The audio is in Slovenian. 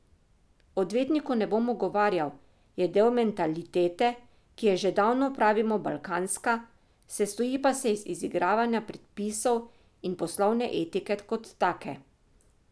Odvetniku ne bom ugovarjal, Je del mentalitete, ki ji že davno pravimo balkanska, sestoji pa se iz izigravanja predpisov in poslovne etike kot take.